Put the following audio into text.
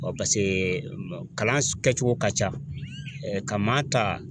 kalan kɛcogo ka ca ka maa ta